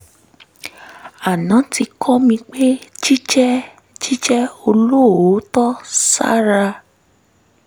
aná ti kọ́ mi pé jíjẹ́ jíjẹ́ olóòótọ́ síra